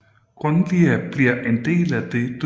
Grønlia bliver en del af dette